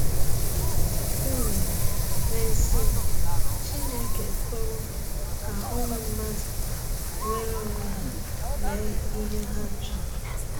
um N'ezie, Chineke ekwewo ka ụmụ mmadụ nweere onwe ha mee ihe ha chọrọ.